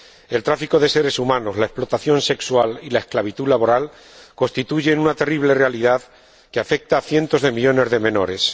El tráfico de seres humanos, la explotación sexual y la esclavitud laboral constituyen una terrible realidad que afecta a cientos de millones de menores.